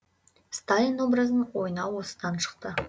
сталин образын ойнау осыдан шықты